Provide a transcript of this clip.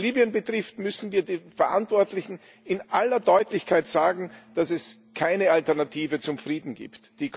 Was Libyen betrifft, müssen wir den Verantwortlichen in aller Deutlichkeit sagen, dass es keine Alternative zum Frieden gibt.